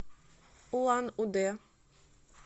улан удэ